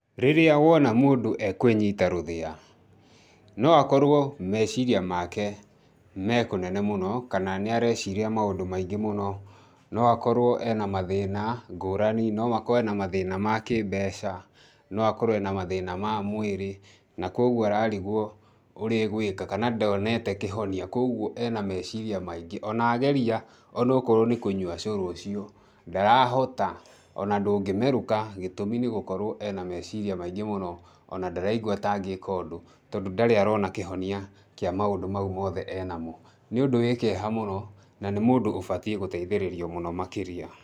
Rĩrĩa wona mũndũ e kwĩnyita rũthĩa, no akorũo meciria make me kũnene mũno, kana nĩ areciria maũndũ maingĩ mũno, no akorũo e na mathĩĩna ngũrani, no akorũo e na mathiĩna ma kĩ mbeca, no akorũo e na mathĩĩna ma mwirĩ, na kwoguo ararigwo ũrĩa egwĩka kana ndoonete kĩhonio kwoguo e na meciria maingĩ. O na ageria,o na okorũo nĩ kũnyua ũcũrũ ucio, ndarahota,o na ndũngĩmerũka gĩtũmi nĩ gũkorũo e na meciria maingĩ mũno,o na ndaraigua ta angĩka ũndũ tondũ ndarĩ arona kĩhonia kĩa maũndũ mau mothe e namo. Nĩ ũndũ wĩ kĩeha mũno na nĩ mũndũ ũbatiĩ gũteithĩrĩrio mũno makĩria.